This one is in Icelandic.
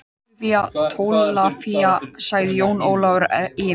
Ólafía Tólafía, sagði Jón Ólafur efins.